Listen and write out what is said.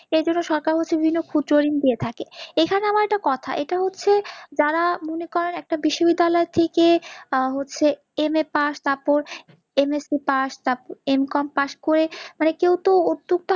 এ জন্য সরকার হচ্ছে বিভিন্নদিয়ে থাকে, এখানে আমার একটা কথা এটা হচ্ছে যারা মনে করেন একটা বিশ্ববিদ্যালয় থেকে হচ্ছে MA pass তারপর MSCpass তারপর MCOMpass করে মানে কেউ তো উদ্যোক্তা